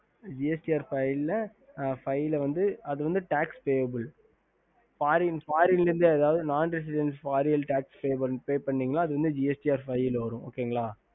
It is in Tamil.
ஹம்